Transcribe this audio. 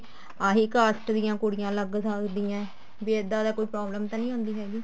ਆਹੀ cast ਦੀਆਂ ਕੁੜੀਆਂ ਲੱਗ ਸਕਦੀਆਂ ਵੀ ਇੱਦਾਂ ਦੀ ਕੋਈ problem ਤਾਂ ਨੀ ਆਉਂਦੀ ਹੈਗੀ